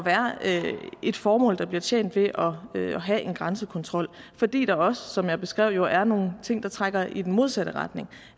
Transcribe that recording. et formål der bliver tjent ved at have en grænsekontrol fordi der også som jeg beskrev er nogle ting der trækker i den modsatte retning